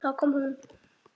Þá kom hún.